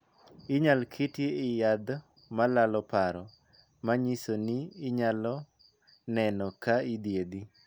Inyal ketie e yadh ma lalo paro, ma nyiso ni inyalo neno ka idhiedhi.